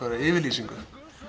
yfirlýsingu